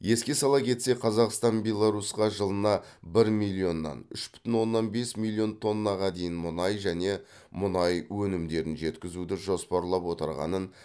еске сала кетсек қазақстан беларусьқа жылына бір миллионнан үш бүтін оннан бес миллион тоннаға дейін мұнай және мұнай өнімдерін жеткізуді жоспарлап отырғанын